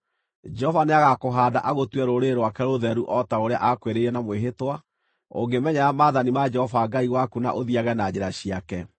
Jehova nĩagakũhaanda agũtue rũrĩrĩ rwake rũtheru o ta ũrĩa aakwĩrĩire na mwĩhĩtwa, ũngĩmenyerera maathani ma Jehova Ngai waku na ũthiiage na njĩra ciake.